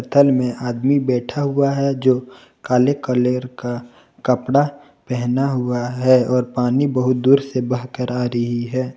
तल में आदमी बैठा हुआ है जो काले कलर का कपड़ा पहना हुआ है और पानी बहुत दूर से बहकर आ रही है।